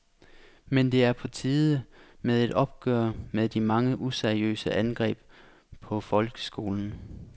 Men det er på tide med et opgør med de mange useriøse angreb på folkeskolen.